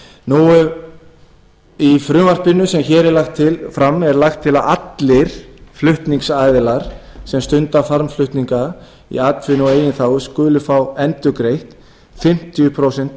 milljón króna í frumvarpinu sem hér er lagt fram er lagt til að allir flutningsaðilar sem stunda farmflutninga í atvinnu og eigin þágu skuli fá endurgreitt fimmtíu prósent